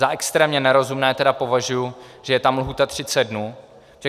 Za extrémně nerozumné tedy považuji, že je tam lhůta 30 dnů.